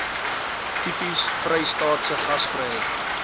tipies vrystaatse gasvryheid